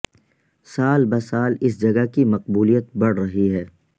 سال بہ سال اس جگہ کی مقبولیت بڑھ رہی ہے